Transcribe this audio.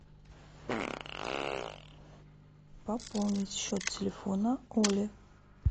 пополнить счет телефона оли